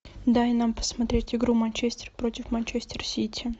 дай нам посмотреть игру манчестер против манчестер сити